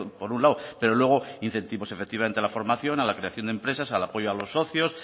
por un lado pero luego incentivos efectivamente a la formación a la creación de empresas al apoyo a los socios